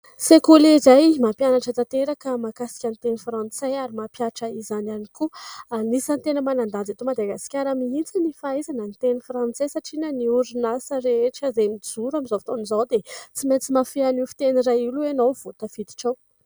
Sekoly iray mampianatra tanteraka mahakasika ny teny frantsay ary mampihatra izany ihany koa. Anisan'ny tena manan-danja eto Madagasikara mihitsy ny fahaizana ny teny frantsay satria na ny orinasa rehetra izay mijoro amin'izao fotoana izao dia tsy maintsy mahafehy an'io fiteny iray io aloha ianao vao tafiditra ao.